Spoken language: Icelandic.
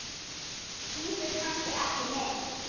Bíður kannski ekki neitt?